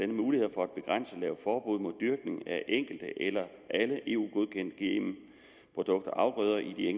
muligheder for at begrænse og lave forbud mod dyrkning af enkelte eller alle eu godkendte gm produkter og afgrøder i